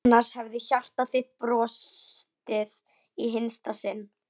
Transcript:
Annars hefði hjarta þitt brostið í hinsta sinn.